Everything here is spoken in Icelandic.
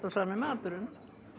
sami maturinn